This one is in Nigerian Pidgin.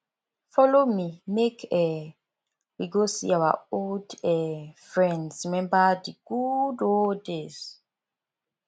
folo me make um we go see our old um friends rememba di good old days